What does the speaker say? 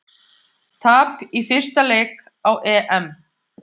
Tap í fyrsta leik á EM